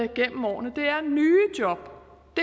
gennem årene det er nye job